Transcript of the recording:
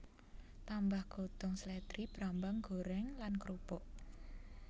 Tambah godhong slèdri brambang goreng lan krupuk